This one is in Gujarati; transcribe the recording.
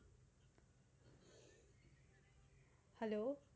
hello